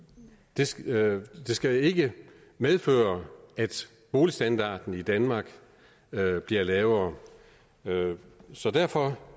det skal skal ikke medføre at boligstandarden i danmark bliver lavere så derfor